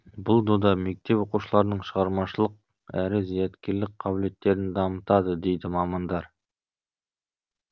бұл дода мектеп оқушыларының шығармашылық әрі зияткерлік қабілеттерін дамытады дейді мамандар